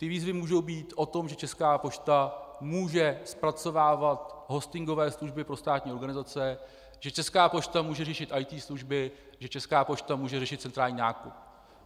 Ty výzvy mohou být o tom, že Česká pošta může zpracovávat hostingové služby pro státní organizace, že Česká pošta může řešit IT služby, že Česká pošta může řešit centrální nákup.